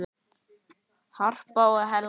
Harpa og Helga.